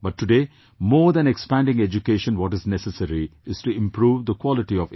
But today more than expanding education what is necessary is to improve the quality of education